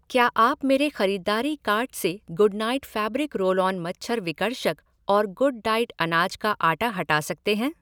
क्या आप मेरे ख़रीदारी कार्ट से Good Knight fabric roll on मच्छर विकर्षक और गुड डाइट अनाज का आटा हटा सकते हैं ?